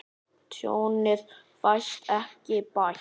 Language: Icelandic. Tjónið fæst ekki bætt.